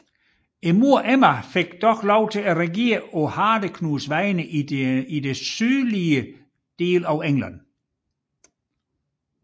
Moderen Emma fik dog lov til at regere på Hardeknuds vegne i den sydlige del af England